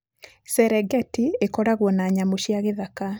Serengeti ĩkoragwo na nyamũ cia gĩthaka.